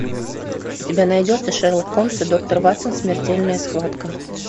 у тебя найдется шерлок холмс и доктор ватсон смертельная схватка